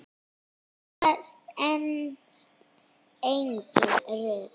Þetta stenst engin rök.